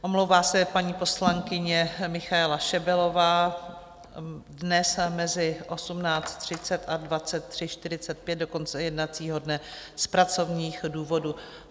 Omlouvá se paní poslankyně Michaela Šebelová dnes mezi 18.30 a 23.45 do konce jednacího dne z pracovních důvodů.